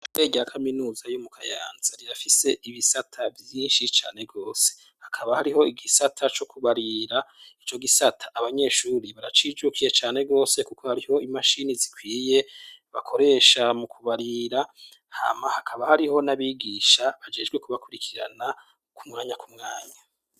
Ishure rya kaminuza yo mu Kayanza rirafise ibisata vyinshi cane rwose, hakaba hariho igisata co kubarira. Ico gisata abanyeshuri baracijukiye cane rwose kuko hariho imashini zikwiye bakoresha mu kubarira, hama hakaba hariho n'abigisha bajejwe kubakurikirana ku mwanya ku mwanya.